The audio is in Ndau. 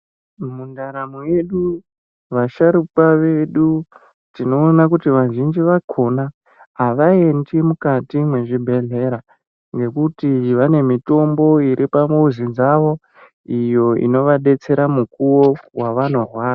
Mundaramo yedu vasharukwa vedu tinoona kuti vazhinji vakona havaendi mukati mwezvibhedhlera. Ngekuti vanemitombo iripamuzi dzavo iyo inovabetsera mukuvo vavanorwara.